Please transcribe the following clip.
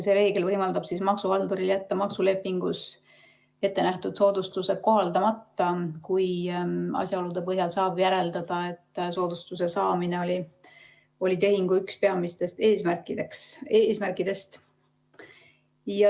See reegel võimaldab maksuhalduril jätta maksulepingus ettenähtud soodustused kohaldamata, kui asjaolude põhjal saab järeldada, et soodustuse saamine oli tehingu üks peamistest eesmärkidest.